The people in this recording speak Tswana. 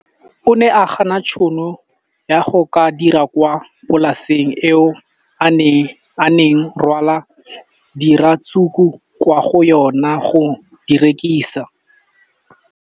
O ne a gana tšhono ya go dira kwa polaseng eo a neng rwala diratsuru kwa go yona go di rekisa.